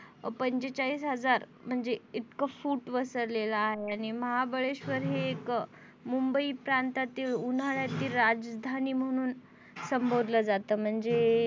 पंचेचाळीस हजार म्हणजे इतकं फूट वसरलेलं आहे आणि महाबळेशवर हे एक मुंबई प्रांतातील उन्हाळ्यातील राजधानी म्हणून संबोधले जात. म्हणजे